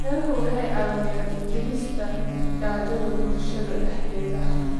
Beeruhu waxay caawiyaan dhimista gaajada bulshada dhexdeeda.